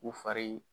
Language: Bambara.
U fari